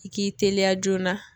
I k'i teliya joona